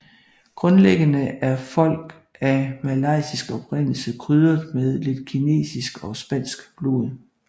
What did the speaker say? Grundlæggende er folk af malayisk oprindelse krydret med lidt kinesisk og spansk blod